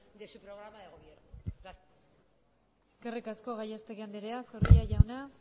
de su programa de gobierno gracias eskerrik asko gallastegui andrea zorrilla jauna